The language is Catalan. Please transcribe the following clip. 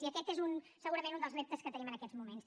i aquest és segurament un dels reptes que tenim en aquests moments